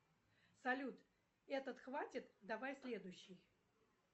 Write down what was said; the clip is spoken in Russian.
салют этот хватит давай следующий